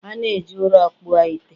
a na-eji ụrọ kpụọ ite